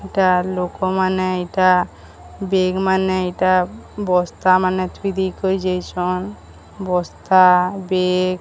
ଏଇଟା ଲୋକ ମାନେ ଏଇଟା ବେଗ ମାନେ ଏଇଟା ବସ୍ତା ମାନେ ଥୁଇ ଦେଇକରି ଯାଇଛନ୍ ବସ୍ତା ବେଗ ।